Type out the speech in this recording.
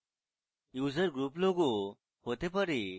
user group logo হতে পারে